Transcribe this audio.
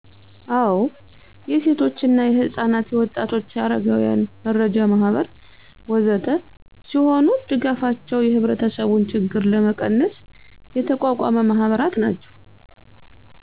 አዉ የሴቶች እና ህፃናት'የወጣቶቸ፣ አረጋወያን መረጃ ማህበር ወዘተ ሲሆኑ ድጋፋቸወ የህብረተሰቡን ችግር ለመቀነስ የተቋቋሙ ማህበራት ናቸወ